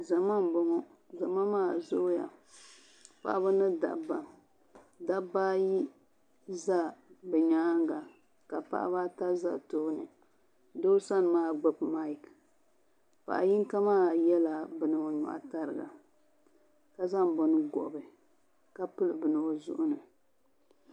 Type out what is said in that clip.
Zama m-bɔŋɔ zama maa zooya paɣiba ni dabba dabba ayi za bɛ nyaaŋa ka paɣiba ata za tooni doo sani maa gbubi mayiki paɣ’ yino maa yɛla bini o nyɔɣu tariga ka zaŋ bini gɔbi ka pili bini o zuɣu ni